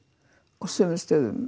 á sumum stöðum